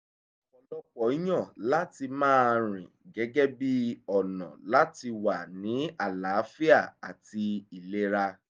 ọ̀pọ̀lọpọ̀ yàn láti máa rìn gẹ́gẹ́ bíi ọ̀nà láti wà ní àlàáfíà àti ilera